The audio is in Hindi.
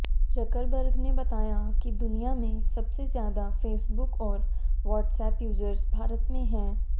जुकरबर्ग ने बताया कि दुनिया में सबसे ज्यादा फेसबुक और व्हाट्सएप यूजर्स भारत में हैं